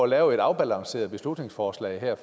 lave et afbalanceret beslutningsforslag der